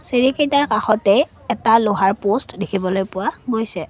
চিৰিকিটাৰ কাষতে এটা লোহাৰ প'ষ্ট্ দেখিবলৈ পোৱা গৈছে।